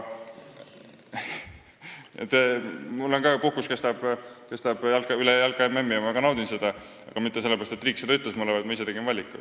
Minugi puhkus kestab üle jalka-MM-i ja ma ka naudin seda, aga mitte sellepärast, et riik ütles mulle ette, vaid ma ise tegin selle valiku.